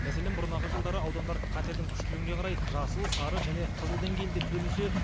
мәселен бұрынағы жылдары аудандар қатердің күштілігіне қарай жасыл сары және қызыл деңгейлі деп бөлінсе